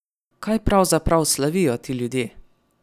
Kaj pravzaprav slavijo ti ljudje?